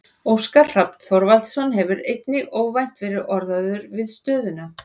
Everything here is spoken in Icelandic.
Óskar Hrafn Þorvaldsson hefur einnig óvænt verið orðaður við stöðuna.